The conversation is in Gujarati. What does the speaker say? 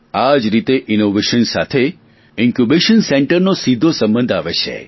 આ જ રીતે ઇનોવેશન સાથે ઇન્કયૂબેશન સેન્ટર વિચાર કેન્દ્ર નો સીધો સંબંધ આવે છે